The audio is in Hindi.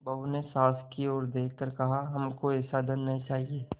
बहू ने सास की ओर देख कर कहाहमको ऐसा धन न चाहिए